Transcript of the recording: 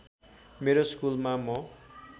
मेरो स्कुलमा म